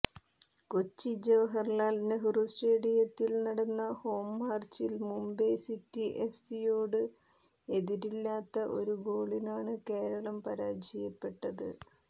കൊച്ചി ജവഹർലാൽ നെഹ്റു സ്റ്റേഡിയത്തിൽ നടന്ന ഹോം മാച്ചിൽ മുംബൈ സിറ്റി എഫ്സിയോട് എതിരില്ലാത്ത ഒരു ഗോളിനാണ് കേരളം പരാജയപ്പെട്ടത്